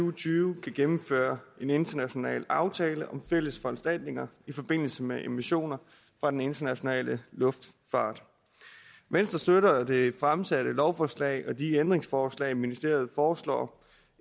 og tyve kan gennemføre en international aftale om fælles foranstaltninger i forbindelse med emissioner fra den internationale luftfart venstre støtter det fremsatte lovforslag og de ændringsforslag ministeriet foreslår